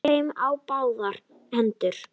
Eys þeim á báðar hendur!